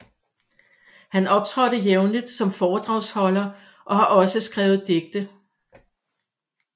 Han optrådte jævnligt som foredragsholder og har også skrevet digte